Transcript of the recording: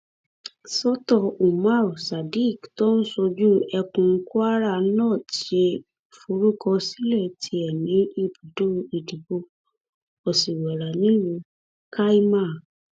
sọ́tọ̀ umar sadiq tó ń ṣojú ẹkùn kwara north ṣe ìforúkọsílẹ tiẹ ní ibùdó ìdìbò òsìwẹ̀rà nílùú kaima